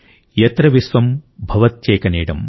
యత్ర విశ్వం భవత్యేక నీడమ్